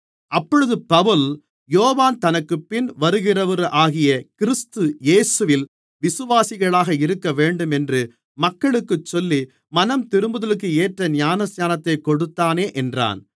அப்பொழுது பவுல் யோவான் தனக்குப்பின் வருகிறவராகிய கிறிஸ்து இயேசுவில் விசுவாசிகளாக இருக்கவேண்டும் என்று மக்களுக்குச் சொல்லி மனந்திரும்புதலுக்கு ஏற்ற ஞானஸ்நானத்தைக் கொடுத்தானே என்றான்